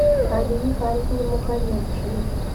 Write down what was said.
али михайловне мухаметшиной